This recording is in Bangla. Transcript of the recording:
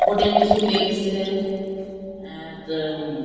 উপরে কিছু লেখসে আর উম --